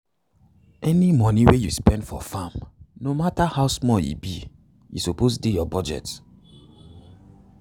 any moni wey u spend for farm no matter how small e be e suppose dey ur budget